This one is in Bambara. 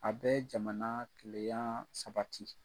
A bɛɛ jamana tileyaa sabati.